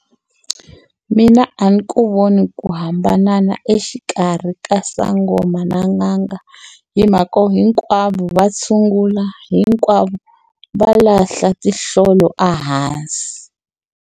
Mina a ni ku voni ku hambana na exikarhi ka sangoma na n'anga. Hi mhaka yo hinkwavo va tshungula, hinkwavo va lahla tinhlolo a hansi.